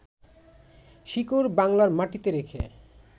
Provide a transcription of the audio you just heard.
শিকড় বাংলার মাটিতে রেখে